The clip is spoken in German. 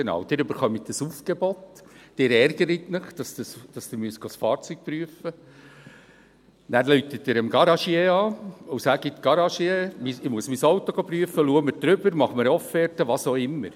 Sie bekommen ein Aufgebot, Sie ärgern sich, dass Sie das Fahrzeug prüfen lassen müssen, nachher rufen Sie den Garagier an und sagen: «Garagier, ich muss mein Auto prüfen lassen, schau mir darüber, mach mir eine Offerte», was auch immer.